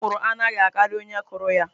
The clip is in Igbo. Okwụrụ anaghi akari onye kuru ya.